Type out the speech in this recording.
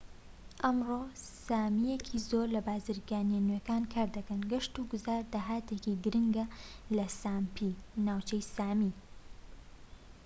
ئەمڕۆ سامیەکی زۆر لە بازرگانیە نوێکان کار دەکەن گەشت و گوزار داهاتێکی گرنگە لە ساپمی ناوچەی سامی